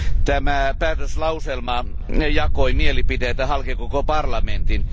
Tämä päätöslauselma jakoi mielipiteitä halki koko parlamentin.